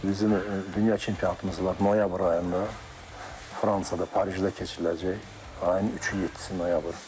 Bizim dünya çempionatımız var, noyabr ayında Fransada, Parisdə keçiriləcək ayın üçü, yeddisi noyabr.